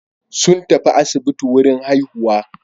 Sun tafi asibiti wurin haihuwa.